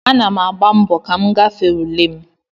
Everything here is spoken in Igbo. Ana m agba mbọ ka m gafee ule m